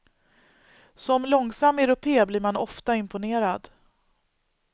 Som långsam europé blir man ofta imponerad.